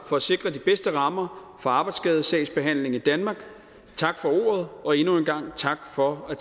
for at sikre de bedste rammer for arbejdsskadesagsbehandlingen i danmark tak for ordet og endnu en gang tak for at